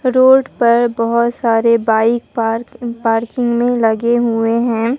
Road पर बहोत सारे बाइक पार पार्किंग में लगे हुए हैं।